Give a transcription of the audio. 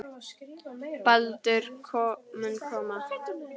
Baldur mun koma.